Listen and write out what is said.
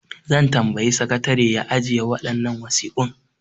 Zan tambayi sakatare ya ajiye waɗannan wasiƙun.